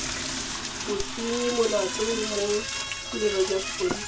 bosenyimolato mo tirelong ya sepodisi